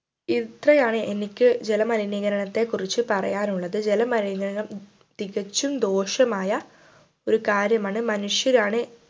ഇത്രയാണ് എനിക്ക് ജലമലിനീകരണത്തെക്കുറിച്ചു പറയാനുള്ളത് ജലമലിനീകരണം ഉം തികച്ചും ദോഷമായ ഒരു കാര്യമാണ് മനുഷ്യരാണ്